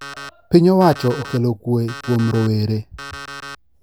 Piny owacho okelo kwee kuom rowere